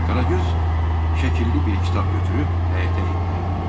Qaragöz şəkilli bir kitab götürüb həyətə endi.